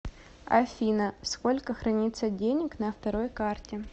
афина сколько хранится денег на второй карте